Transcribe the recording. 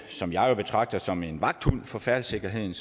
som jeg jo betragter som en vagthund for færdselssikkerheden